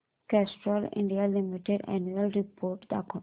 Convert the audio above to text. Castrol India limited annual report दाखव